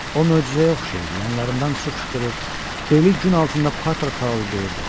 O möcüzəyə oxşayırdı, yanlarından su fışqırır, beli gün altında par-par parıldayırdı.